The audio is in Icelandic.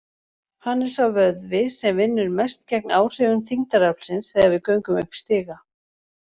Hann er sá vöðvi sem vinnur mest gegn áhrifum þyngdaraflsins þegar við göngum upp stiga.